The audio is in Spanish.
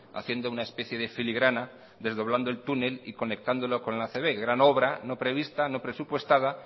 haciendo una especia de filigrana desdoblando el túnel y conectándolo con la acb gran obra no prevista no presupuestada